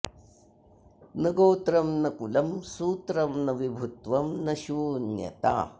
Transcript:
न गोत्रं न कुलं सूत्रं न विभुत्वं न शून्यता